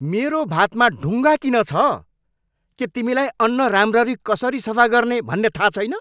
मेरो भातमा ढुङ्गा किन छ? के तिमीलाई अन्न राम्ररी कसरी सफा गर्ने भन्ने थाहा छैन?